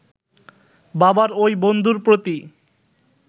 বাবার ঐ বন্ধুর প্রতি